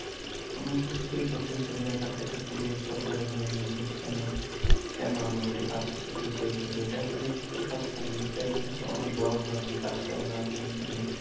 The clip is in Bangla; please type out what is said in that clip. কোনও কিছু কেই ছোট হিসেবে দ্যাখাটা একটা খুবি একটা বড় ধরনের ভুল, কেন কেন আমরা একটা কাজ কে ছোট হিসেবে দেখব এটা আসলে ছোট কাজ কেন এটা আসলে একটা বড় ধরনের কাজ কেননা আপনি এখানে